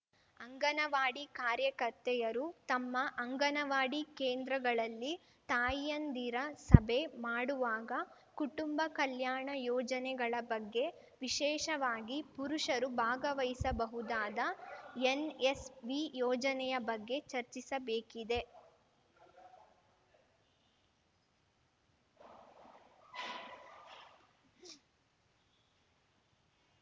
ಅಂಗನವಾಡಿ ಕಾರ್ಯಕರ್ತೆಯರು ತಮ್ಮ ಅಂಗನವಾಡಿ ಕೇಂದ್ರಗಳಲ್ಲಿ ತಾಯಂದಿರ ಸಭೆ ಮಾಡುವಾಗ ಕುಟುಂಬ ಕಲ್ಯಾಣ ಯೋಜನೆಗಳ ಬಗ್ಗೆ ವಿಶೇಷವಾಗಿ ಪುರುಷರು ಭಾಗವಹಿಸಬಹುದಾದ ಎನ್‌ಎಸ್‌ವಿ ಯೋಜನೆಯ ಬಗ್ಗೆ ಚರ್ಚಿಸಬೇಕಿದೆ